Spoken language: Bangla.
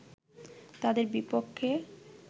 তাদের বিপক্ষে